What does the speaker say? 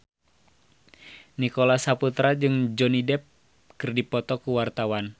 Nicholas Saputra jeung Johnny Depp keur dipoto ku wartawan